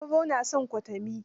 Sauro na san kwatami